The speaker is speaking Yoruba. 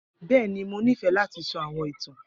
Bẹẹni, Mo nifẹ lati sọ awọn itan.